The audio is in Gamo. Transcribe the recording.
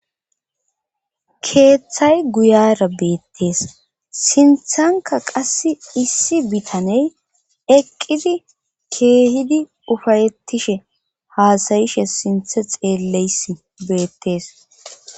keeththay guyara beettees sinthanka qass issi bitaney eqqidi keehidi ufayettishe haasayishe sinthe xeelleys beettees